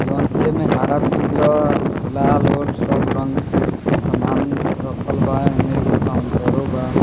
जोन की एमे हरा पीला लाल उल सब रंग के समान रखल बा एमे एगो काउंटरो बा।